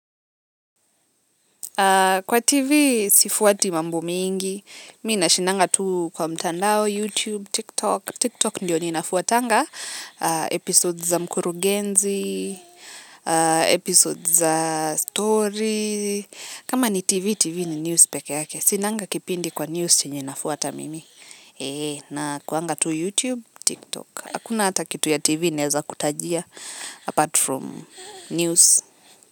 Kwa TV sifuati mambo mingi. Mi nashindanga tu kwa mtandao, YouTube, TikTok. TikTok ndio ninafuatanga. Episodes za mkurugenzi, episodes za story. Kama ni TV, TV ni news pekee yake. Sinanga kipindi kwa news chenye nafuata mimi. Nakuanga tu YouTube, TikTok. Hakuna hata kitu ya TV ninaweza kutajia apart from news.